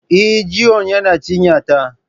Eh, Jiwon yana cinya ta